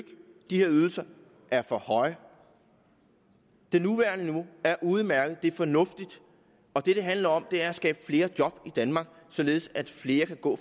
de her ydelser er for høje det nuværende niveau er udmærket det er fornuftigt og det det handler om er at skabe flere job i danmark således at flere kan gå